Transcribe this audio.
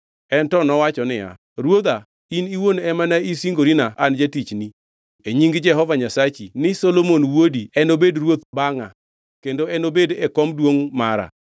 En to nowacho niya, “Ruodha, in iwuon ema ne isingorina an jatichni e nying Jehova Nyasaye Nyasachi ni, ‘Solomon wuodi enobed ruoth bangʼa kendo enobed e kom duongʼ mara.’